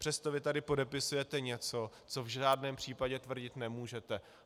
Přesto vy tady podepisujete něco, co v žádném případě tvrdit nemůžete.